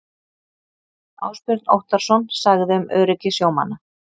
Ásbjörn Óttarsson sagði um öryggi sjómanna.